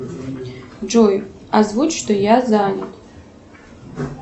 джой озвучь что я занят